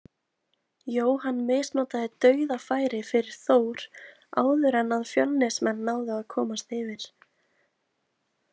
Jóhann misnotaði dauðafæri fyrir Þór áður en að Fjölnismenn náðu að komast yfir.